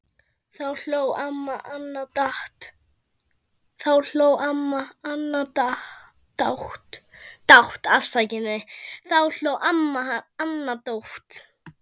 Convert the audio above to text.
Þá hló amma Anna dátt.